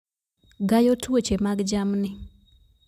Gayo tuoche mag jamni